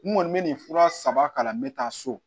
N kɔni bɛ nin fura saba kalan n bɛ taa so